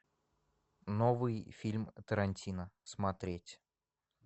новый фильм тарантино смотреть